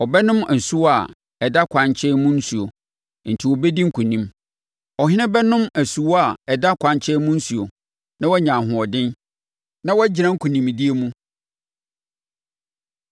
Ɔbɛnom asuwa a ɛda ɛkwan nkyɛn mu nsuo enti ɔbɛdi nkonim. Ɔhene no bɛnom asuwa a ɛda kwankyɛn mu nsuo, na wanya ahoɔden, na wagyina nkonimdie mu.